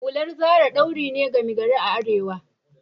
Hular Zara ɗauri ne gama gari a arewa